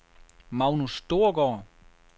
Magnus Storgaard